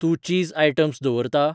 तूं चीज आयटम्स दवरता ?